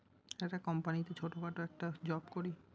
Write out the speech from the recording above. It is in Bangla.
একটা company তে ছোট খাটো একটা job করি।